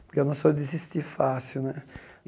Porque eu não sou de desistir fácil, né?